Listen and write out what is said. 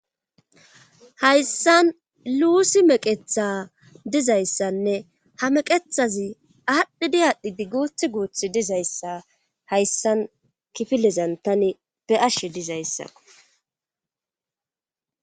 Hayssan luusi meqetha dizayssanne ha meqethazi aadhdhidi aadhdhidi guuth guuthi dizayssa hayssan kifilezan tani be ashshe dizayssa.